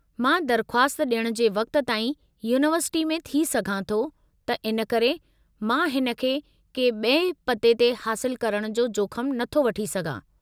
मां दरख़्वास्त डि॒यणु जे वक़्त ताईं यूनिवर्सिटी में थी सघां थो त इन करे मां हिन खे के बि॒ए पते ते हासिलु करणु जो जोखमु नथो वठी सघां।